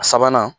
A sabanan